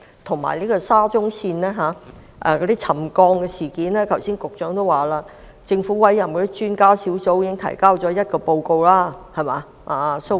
至於沙中線的沉降事件，如果我沒有聽錯，局長剛才表示政府委任的專家小組已提交一份報告。